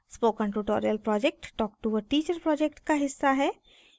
spoken tutorial project talk to a teacher project का हिस्सा है